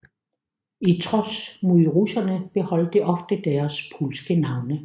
I trods mod russerne beholdt de ofte deres polske navne